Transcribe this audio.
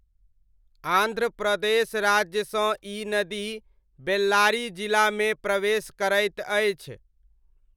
आन्ध्र प्रदेश राज्यसँ ई नदी बेल्लारी जिलामे प्रवेश करैत अछि।